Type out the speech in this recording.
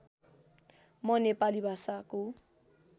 म नेपाली भाषाको